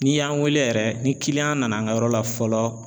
N'i y'an weele yɛrɛ ni kiliyan nana an ka yɔrɔ la fɔlɔ